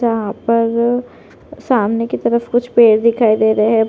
जहाँ पर सामने की तरफ कुछ पेड़ दिखाई दे रहे है।